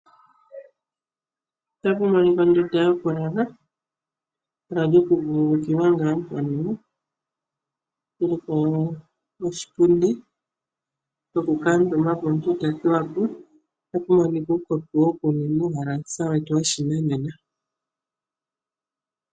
Otapu monika ondunda yoku lala nehala lyoku vululukilwa noshipundi shoku kamutumbapo omuntu to thuwapo otapu monika uukopi woku ninwa uuhelasa wetu woshinanena.